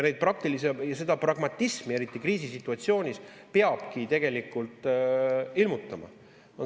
Ja seda pragmatismi, eriti kriisisituatsioonis, peabki tegelikult ilmutama.